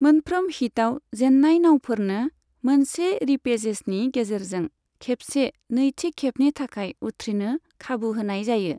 मोनफ्रोम हिटआव जेन्नाय नाउफोरनो मोनसे रिपेचेजनि गेजेरजों खेबसे नैथि खेबनि थाखाय उथ्रिनो खाबु होनाय जायो।